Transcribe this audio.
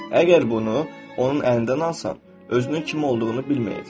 Əgər bunu onun əlindən alsan, özünün kim olduğunu bilməyəcək.